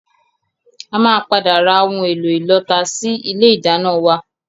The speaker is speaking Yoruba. A máa padà ra ohun èlò ìlọta sì ilé ìdáná wá